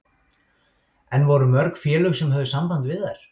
En voru mörg félög sem höfðu samband við þær?